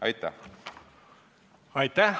Aitäh!